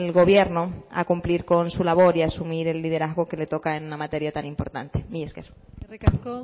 gobierno a cumplir con su labor y asumir el liderazgo que le toca en una materia tan importante mila esker eskerrik asko